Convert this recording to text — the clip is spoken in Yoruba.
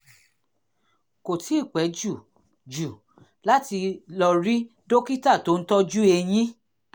kò tíì pẹ́ jù jù láti lọ rí dókítà tó ń tọ́jú eyín